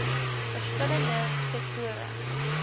verskil lende sektore